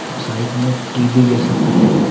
और साइड में टी_वी जैसा कुछ--